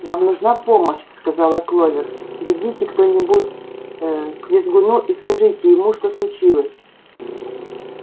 нам нужна помощь сказала кловер бегите кто-нибудь ээ к визгуну и скажите ему что случилось